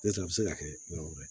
N'o tɛ a bɛ se ka kɛ yɔrɔ wɛrɛ